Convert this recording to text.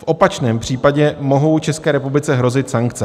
V opačném případě mohou České republice hrozit sankce.